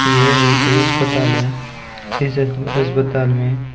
यह एक कोई अस्पताल है इस अस्पताल में--